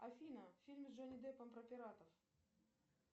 афина фильм с джонни деппом про пиратов